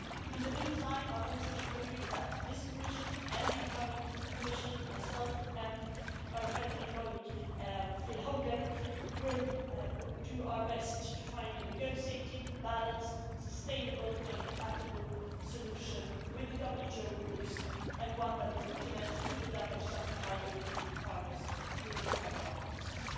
In the meantime, I want to assure you that in this Commission and the incoming Commission, myself and my friend and colleague Phil Hogan will do our best to find a negotiated, balanced, sustainable and compatible solution with the WTO rules, and one that would put an end to the damage suffered by European farmers, including our wine producers.